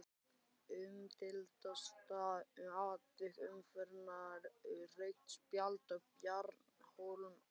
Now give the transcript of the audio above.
Umdeildasta atvik umferðarinnar: Rautt spjald á Bjarna Hólm Aðalsteinsson?